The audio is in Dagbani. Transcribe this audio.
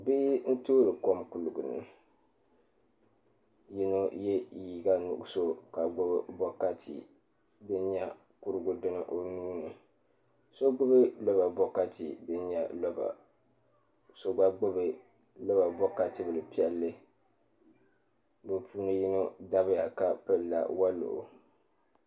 Bihi n toori kom kuligi ni bia yino yɛ liiga nuɣso ka gbubi bokati kurigu dini o nuuni so gbubi la bokati din nyɛ loba so gba gbubi loba bokati bili piɛlli bi puuni yino dabya ka pilila woliɣi